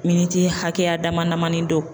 Miniti hakɛya damadamani don